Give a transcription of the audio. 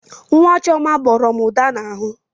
Nwa Chioma gbọrọ m ụda n'ahụ.